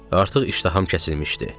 Artıq iştaham kəsilmişdi.